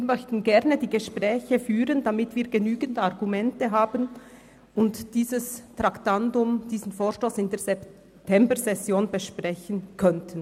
Wir möchten gerne die Gespräche führen, um genügende Argumente sammeln und diesen Vorstoss in der Septembersession besprechen zu können.